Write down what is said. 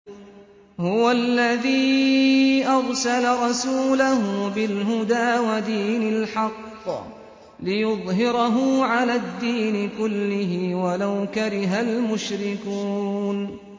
هُوَ الَّذِي أَرْسَلَ رَسُولَهُ بِالْهُدَىٰ وَدِينِ الْحَقِّ لِيُظْهِرَهُ عَلَى الدِّينِ كُلِّهِ وَلَوْ كَرِهَ الْمُشْرِكُونَ